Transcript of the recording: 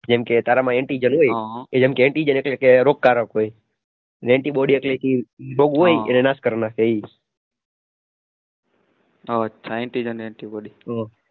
જેમ કે તારામાં antigel હોય એમ કે antigel રોગકારક હોય અને antibody એટલે કે બહુ હોય એને નાશ કરી નાખે એમ